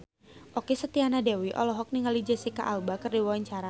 Okky Setiana Dewi olohok ningali Jesicca Alba keur diwawancara